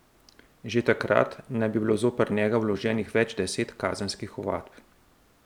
Že takrat naj bi bilo zoper njega vloženih več deset kazenskih ovadb.